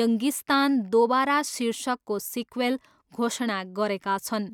यङ्गिस्तान दोबारा शीर्षकको सिक्वेल घोषणा गरेका छन्।